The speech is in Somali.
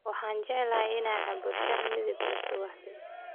Waxaan jeclahay in aan cabbo shaah midab leh subaxdii.